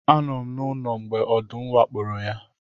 Anọ m n'ụlọ mgbe ọdụm wakporo ya